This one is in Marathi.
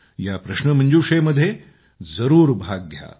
या प्रश्नमंजुषेमध्ये जरूर भाग घ्या